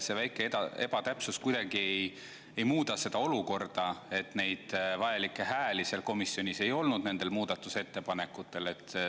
See väike ebatäpsus kuidagi ei muuda seda olukorda, et neid vajalikke hääli komisjonis ei olnud nendel muudatusettepanekutel.